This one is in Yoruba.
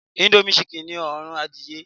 índómì ṣikìn ni òórùn adìyẹ